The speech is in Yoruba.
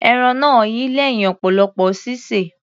Ẹran náà yi lẹ́hìn ọ̀pọ̀lọpọ̀ sísè.